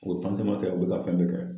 U be kɛ u be ka fɛn bɛɛ kɛ.